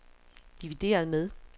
divideret med